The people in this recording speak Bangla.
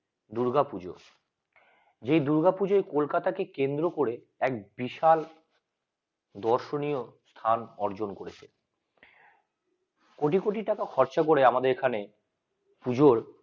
দুর্গাপূজা যে দুর্গাপূজা কলকাতা কে কেন্দ্র করে এক বিশাল দর্শনীয় স্থান অর্জন করেছে কোটি কোটি টাকা খরচা করে আমাদের এখানে পুজোর